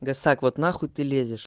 гасак вот нахуй ты лезешь